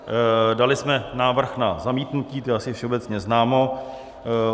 Dali jsme návrh na zamítnutí, to je asi všeobecně známo.